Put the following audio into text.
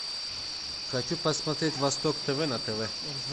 хочу посмотреть восток тв на тв